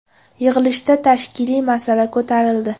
Yig‘ilishda tashkiliy masala ko‘rildi.